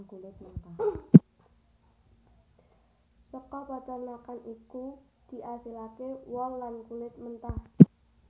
Saka paternakan iki diasilake wol lan kulit mentah